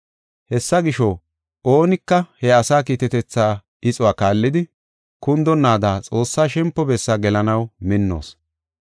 Hessa gisho, oonika he asaa kiitetetha ixuwa kaallidi, kundonaada Xoossaa shempo bessaa gelanaw minnoos.